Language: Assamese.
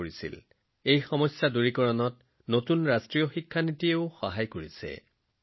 ৰাজ্যৰ নতুন শিক্ষা নীতিয়েও এনে অসুবিধা দূৰ কৰাত সহায় কৰিছে